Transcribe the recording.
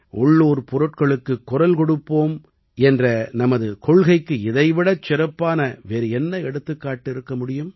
உள்ளூர் பொருட்களுக்குக் குரல் கொடுக்க வேண்டும் என்ற நமது கொள்கைக்கு இதை விடச் சிறப்பான வேறு என்ன எடுத்துக்காட்டு இருக்க முடியும்